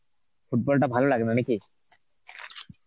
football টা ভালো লাগে না নাকি?